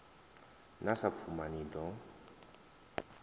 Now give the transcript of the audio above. na sa pfuma ni ḓo